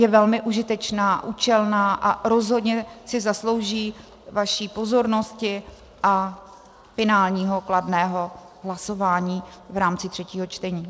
Je velmi užitečná, účelná a rozhodně si zaslouží vaši pozornosti a finálního kladného hlasování v rámci třetího čtení.